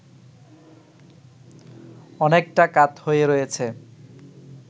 অনেকটা কাত হয়ে রয়েছে